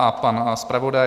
A pan zpravodaj?